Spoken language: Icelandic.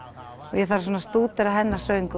og ég þarf að stúdera hennar söng